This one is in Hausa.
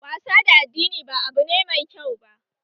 Wasa da addini ba abu ne mai kyau ba